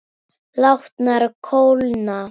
Látnar kólna.